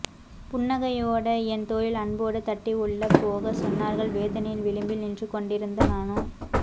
புன்னகையோட என் தோளில் அன்போடு தட்டி உள்ளே போகச் சொன்னார்கள் வேதனையின் விளிம்பில் நின்றுகொண்டிருந்த நானோ